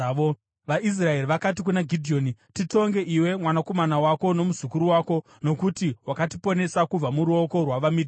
VaIsraeri vakati kuna Gidheoni, “Titonge iwe, mwanakomana wako nomuzukuru wako nokuti wakatiponesa kubva muruoko rwavaMidhiani.”